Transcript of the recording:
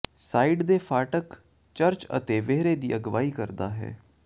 side ਦੇ ਫ਼ਾਟਕ church ਅਤੇ ਵਿਹੜੇ ਦੀ ਅਗਵਾਈ ਕਰਦਾ ਹੈ